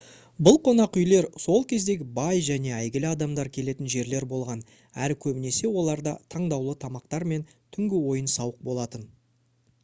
бұл қонақүйлер сол кездегі бай және әйгілі адамдар келетін жерлер болған әрі көбінесе оларда таңдаулы тамақтар мен түнгі ойын-сауық болатын